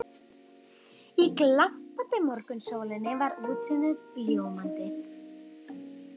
Í glampandi morgunsólinni var útsýnið ljómandi.